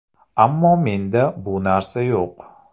Ammo menda bu narsa yo‘q.